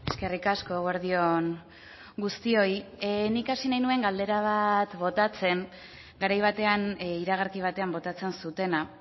eskerrik asko eguerdi on guztioi nik hasi nahi nuen galdera bat botatzen garai batean iragarki batean botatzen zutena